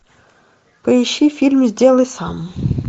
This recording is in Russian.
поищи фильм сделай сам